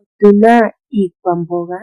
Otuna iikwamboga